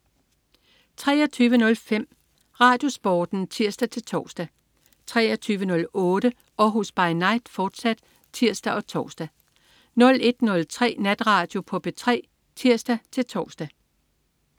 23.05 RadioSporten (tirs-tors) 23.08 Århus By Night, fortsat (tirs og tors) 01.03 Natradio på P3 (tirs-tors)